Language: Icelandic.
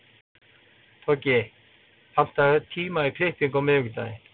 Toggi, pantaðu tíma í klippingu á miðvikudaginn.